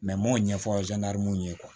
n m'o ɲɛfɔ ye